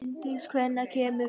Bryndís, hvenær kemur fjarkinn?